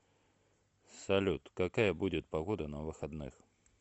салют какая будет погода на выходных